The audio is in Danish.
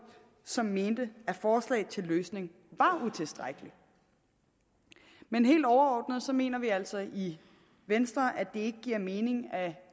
som mente at forslaget til løsning var utilstrækkeligt men helt overordnet mener vi altså i venstre at ikke giver mening at